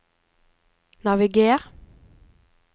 naviger